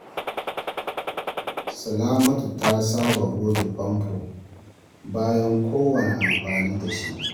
Salamatu ta saba goge fanfo bayan kowanne amfani da shi.